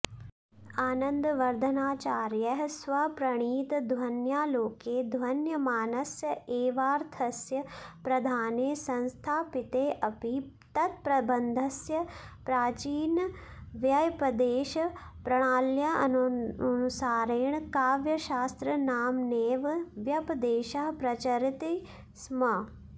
आनन्दवर्द्धनाचार्यैः स्वप्रणीतध्वन्यालोके ध्वन्यमानस्य एवार्थस्य प्रधाने संस्थापितेऽपि तत्प्रबन्धस्य प्राचीनव्यपदेशप्रणाल्यनुसारेण काव्यशास्त्रनाम्नैव व्यपदेशः प्रचरति स्म